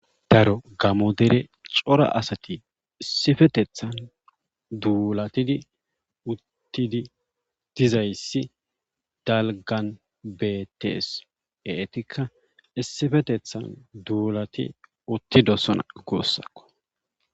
daro gamo dere cora asati issifetethan duulatidi uttidi dizayssi dalgan betees etikka issifetethan duulati uttidosona gussakko